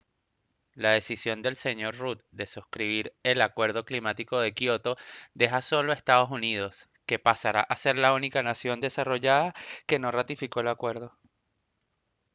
la decisión del sr rudd de suscribir el acuerdo climático de kyoto deja solo a estados unidos que pasará a ser la única nación desarrollada que no ratificó el acuerdo